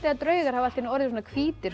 að draugar hafi orðið svona hvítir